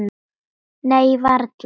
Nei, varla.